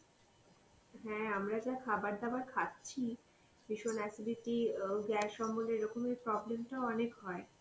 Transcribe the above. হ্যাঁ আমরা যা খাবার দাবার খাচ্ছি ভীষণ acidity উও গ্যাস অম্বলের এরকমই problem টা অনেক হয়.